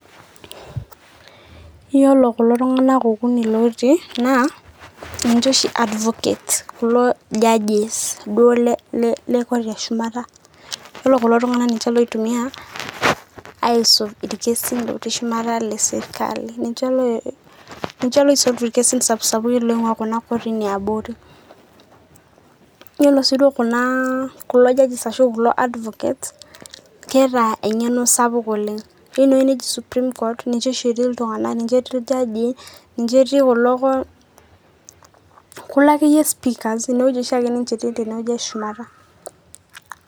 iyiolo kulo tunganak okuni lootii naa ninche oshi advocates kulo judges kulo duo le court e shumata .yiolo kulo tunganak ninche loitumia aisum irkiesin lotii shumata le sirkali . ninche loi sort irkesin sapsapukin oingwaa kotini eabori .yiolo si duo kulo judges ashu kulo advocates keeta engeno sapuk oleng .ore ene wueji neji supreme court ninye oshi etii iltunganak ninche etii iljajii ninche etii kulo kulo akeyie speakers